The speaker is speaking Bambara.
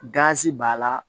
Gazi b'a la